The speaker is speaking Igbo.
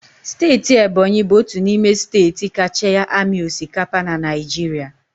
Steeti Ebonyi bụ otu n'ime steeti kacha amị osikapa na Naịjirịa.